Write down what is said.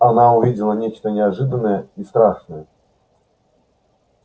она увидела нечто неожиданное и страшное